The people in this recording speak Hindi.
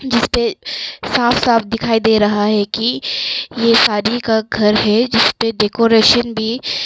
जिसपे साफ साफ दिखाई दे रहा है की ये शादी का घर है जिसपे डेकोरेशन भी --